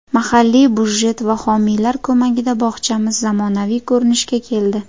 Mahalliy budjet va homiylar ko‘magida bog‘chamiz zamonaviy ko‘rinishga keldi.